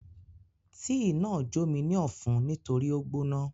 Tíì náà jó mi ní ọ̀fun nítorí ó gbóná.